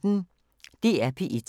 DR P1